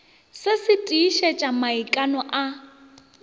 se se tiišetša maikano a